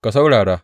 Ka saurara!